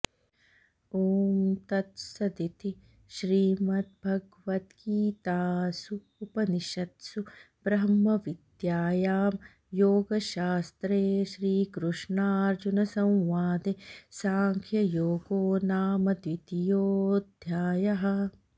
ॐ तत्सदिति श्रीमद्भगवद्गीतासूपनिषत्सु ब्रह्मविद्यायां योगशास्त्रे श्रीकृष्णार्जुनसंवादे साङ्ख्ययोगो नाम द्वितीयोऽध्यायः